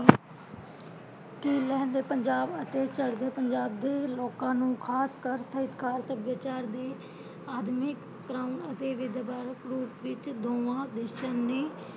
ਕੀ ਲਹਿੰਦੇ ਪੰਜਾਬ ਅਤੇ ਚੜ੍ਹਦੇ ਪੰਜਾਬ ਦੇ ਲੋਕਾਂ ਨੂੰ ਖਾਸ ਕਰ ਸਾਹਿਤਕਾਰ ਸੱਭਿਆਚਾਰ ਦੇ ਆਦਮਿਕਤਾ ਅਤੇ ਵਿਦਵਾਨ ਰੂਪ ਵਿੱਚ ਦੋਵਾਂ ਦੇਸ਼ਾਂ ਨੇ